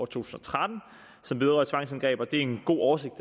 tusind og tretten som vedrører tvangsindgreb og det er en god oversigt at